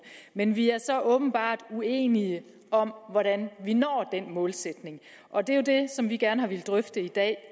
men vi er så åbenbart uenige om hvordan vi når denne målsætning og det er jo det som vi gerne har villet drøfte i dag